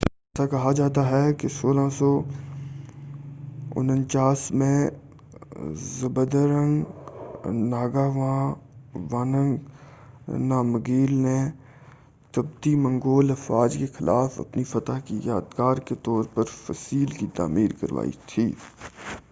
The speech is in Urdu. ایسا کہا جاتا ہے کہ 1649 میں زبدرنگ نگاوانگ نامگیل نے تبتی منگول افواج کے خلاف اپنی فتح کی یادگار کے طور پر فَصِیل کی تعمیر کروائی تھی